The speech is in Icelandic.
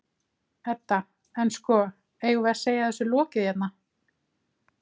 Edda: En, sko, eigum við að segja þessu lokið hérna?